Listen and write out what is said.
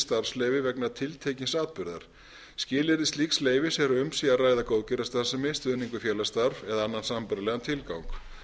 starfsleyfi vegna tiltekins atburðar skilyrði slíks leyfis er að um sé að ræða góðgerðarstarfsemi stuðning við félagsstarf eða annan sambærilegan tilgang